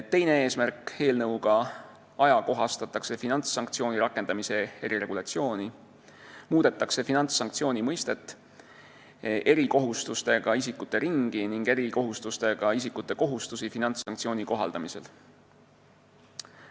Teine eesmärk: ajakohastatakse finantssanktsiooni rakendamise eriregulatsiooni, muudetakse finantssanktsiooni mõistet, erikohustustega isikute ringi ning erikohustustega isikute kohustusi finantssanktsiooni kohaldamisel.